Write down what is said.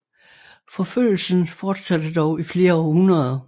Forfølgelsen fortsatte dog i flere århundreder